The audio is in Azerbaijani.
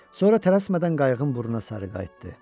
Sonra tələsmədən qayığın burnuna sarı qayıtdı.